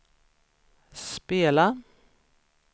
spela